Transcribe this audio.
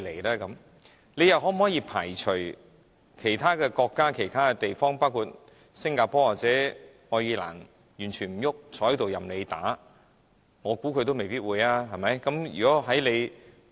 我們又可否排除其他國家、地方，包括新加坡或愛爾蘭完全沒有任何動靜，任由香港政府打壓的可能性呢？